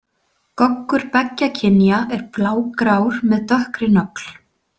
Goggur beggja kynja er blágrár með dökkri nögl.